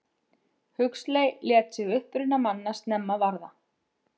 Huxley lét sig uppruna manna snemma varða.